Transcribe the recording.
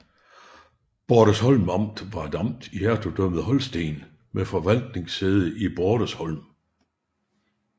Bordesholm Amt var et amt i Hertugdømmet Holsten med forvaltningssæde i Bordesholm